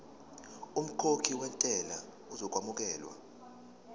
umkhokhi wentela uzokwamukelwa